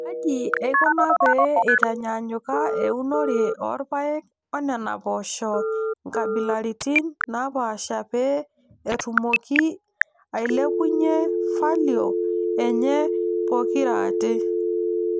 Kaji eikuna pee eitaanyanyuka eunore oo rpayek oNena poosho oonkabilaritin naapaasha pee etumoki aailepunyie falio enye pokirate.